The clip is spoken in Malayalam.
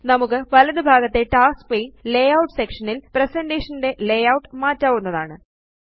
നമുക്ക് വലതുഭാഗത്തെ ടാസ്ക്സ് പാനെ ലേയൂട്ട് സെക്ഷൻ ല് പ്രസന്റേഷൻ ന്റെ ലേയൂട്ട് മാറ്റാവുന്നതാണ്